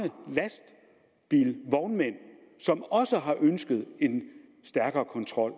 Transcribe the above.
vognmænd som også har ønsket en stærkere kontrol